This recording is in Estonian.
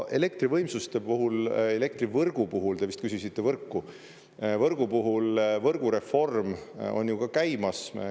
Elektrivõimsuste puhul, elektrivõrgu puhul – te vist küsisite võrku – võrgu puhul: võrgureform on ju ka käimas.